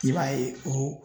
I b'a ye o